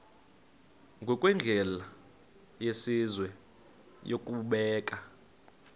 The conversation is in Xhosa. ngokwendlela yesizwe yokubeka